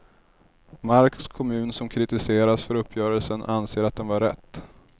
Marks kommun som kritiseras för uppgörelsen anser att den var rätt.